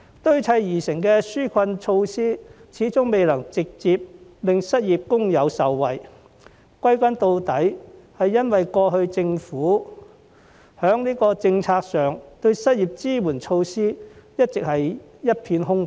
堆砌而成的紓困措施始終未能直接令失業工友受惠，歸根究底，是由於在過往的政府政策上，失業支援措施一直是一片空白。